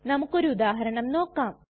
നമുക്കൊരു ഉദാഹരണം നോക്കാം